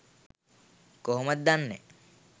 කොහොමද දන්නෑ?